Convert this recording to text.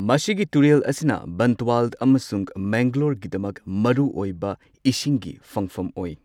ꯃꯁꯤꯒꯤ ꯇꯨꯔꯦꯜ ꯑꯁꯤꯅ ꯕꯟꯇꯋꯥꯜ ꯑꯃꯁꯨꯡ ꯃꯦꯡꯒꯂꯣꯔꯒꯤꯗꯃꯛ ꯃꯔꯨꯑꯣꯏꯕ ꯏꯁꯤꯡꯒꯤ ꯐꯪꯐꯝ ꯑꯣꯏ꯫